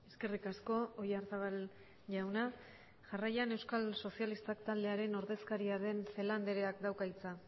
eskerrik asko oyarzabal jauna jarraian euskal sozialistak taldearen ordezkaria den celaá andreak dauka hitza